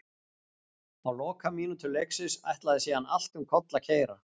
Á lokamínútum leiksins ætlaði síðan allt um koll að keyra.